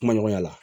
Kuma ɲɔgɔnya la